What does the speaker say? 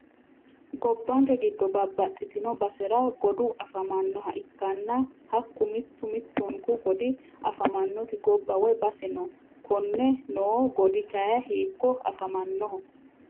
Gobbanke giddo babbaxitino basera godu afamannoha ikkanna hakku mittu mittunku godi afamannoti gobba woyi base noo konne noo godi kayii hiikko afamannoho?